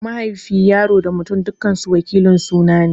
Mahaifi, Yaro da Mutum dukansu wakilin suna ne.